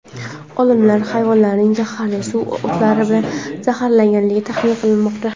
Olimlar hayvonlarning zaharli suv o‘tlari bilan zaharlanganligini taxmin qilmoqda.